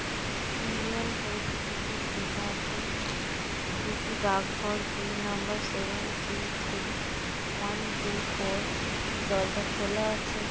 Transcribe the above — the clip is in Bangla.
ইন্ডিয়ান পোস্ট অফিস লেখা আছে এটি একটি ডাকঘর pin number seven three three one two four দরজা খোলা আছে।